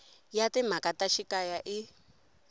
ya timhaka ta xikaya i